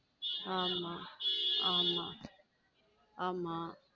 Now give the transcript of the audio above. ஆமா ஆம ஆமா.